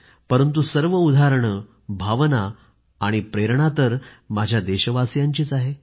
परंतु सर्व उदाहरणे भावना आणि प्रेरणा तर माझ्या देशवासियांचीच आहे